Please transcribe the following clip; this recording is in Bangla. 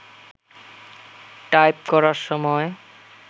টাইপ করার সময়